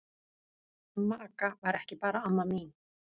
Amma Agga var ekki bara amma mín.